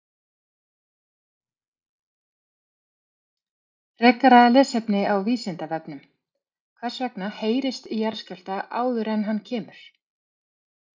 Frekara lesefni á Vísindavefnum: Hvers vegna heyrist í jarðskjálfta áður en hann kemur?